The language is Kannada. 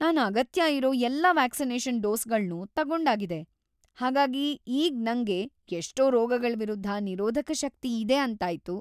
ನಾನ್ ಅಗತ್ಯ ಇರೋ ಎಲ್ಲಾ ವ್ಯಾಕ್ಸಿನೇಷನ್ ಡೋಸ್‌ಗಳ್ನೂ ತಗೊಂಡಾಗಿದೆ. ಹಾಗಾಗಿ ಈಗ್ ನಂಗೆ ಎಷ್ಟೋ ರೋಗಗಳ್‌ ವಿರುದ್ಧ ನಿರೋಧಕ ಶಕ್ತಿ ಇದೆ ಅಂತಾಯ್ತು.